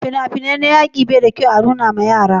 fina-finai na yaƙi bai da kyau a nuna ma yara